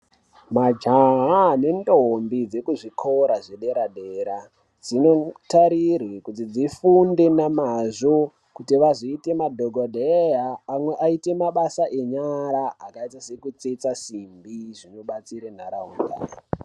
Majaha nendombi dzekuzvikora zvedera dera dzinotarirwa kuti dzifunde nemazvo kuti vazoita madhokodheya amwe aite mabasa enyara akaita sekutsetsa simbi zvinobatsira ndaraunda.